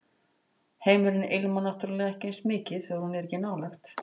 Heimurinn ilmar náttúrlega ekki eins mikið þegar hún er ekki nálægt